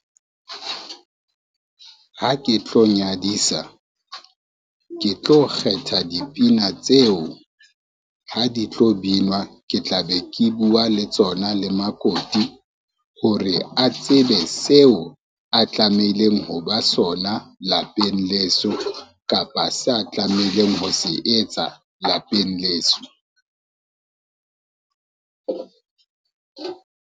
Ha ke tlo nyadisa, ke tlo kgetha dipina tseo, ha di tlo binwa ke tla be ke bua le tsona le makoti hore a tsebe seo a tlameileng ho ba sona lapeng leso, kapa se a tlameileng ho se etsa lapeng leso.